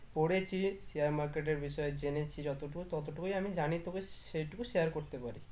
পড়েছি share market এর বিষয় জেনেছি যতটা ততটুকুই আমি জানি তোকে সেটুকু share করতে পারি